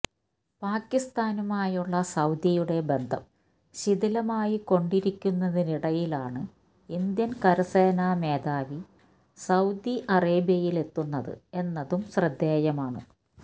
പാക്കിസ്ഥാനുമായുള്ള സൌദിയുടെ ബന്ധം ശിഥിലമായി കൊണ്ടിരിക്കുന്നതിനിടയിലാണ് ഇന്ത്യൻ കരസേന മേധാവി സൌദി അറേബ്യയിലെത്തുന്നത് എന്നതും ശ്രദ്ധേയമാണ്